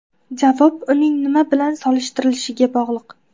Javob uning nima bilan solishtirilishiga bog‘liq.